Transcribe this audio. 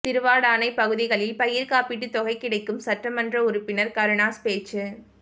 திருவாடானை பகுதிகளில் பயிற்காப்பீட்டு தொகை கிடைக்கும் சட்டமன்ற உறுப்பினர் கருணாஸ் பேச்சு